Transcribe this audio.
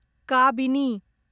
Kabini